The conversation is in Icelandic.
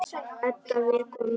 Edda vekur mömmu.